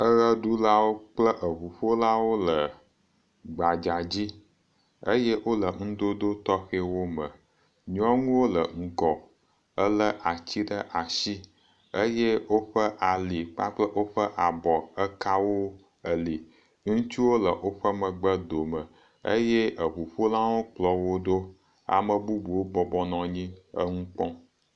Eʋeɖulawo kple eŋuƒolawo le gbadza dzi eye wole ŋudodo tɔxɛwo me. Nyɔnuwo le ŋgɔ ele atsi ɖe ats asi eye woƒe ali kpakple woƒe abɔ eka wo eli. Ŋtsuwo le woƒe megbe dome eye eŋuƒolawo kplɔ wo ɖo. Ame bubuwo bɔbɔ nɔ anyi eŋu kpɔm.